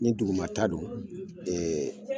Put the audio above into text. Ni duguma ta don